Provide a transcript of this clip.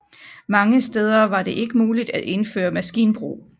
Mange steder var ikke muligt at indføre maskinbrug